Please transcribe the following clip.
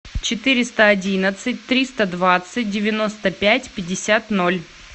четыреста одиннадцать триста двадцать девяносто пять пятьдесят ноль